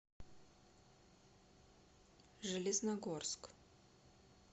железногорск